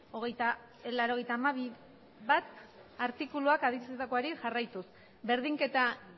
laurogeita hamabi puntu bat artikuluak adierazitakoari jarraituz berdinketa